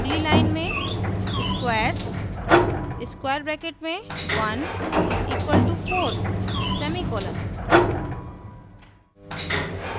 अगली line में squares 1 = 4;